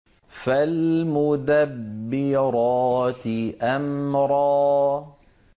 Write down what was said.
فَالْمُدَبِّرَاتِ أَمْرًا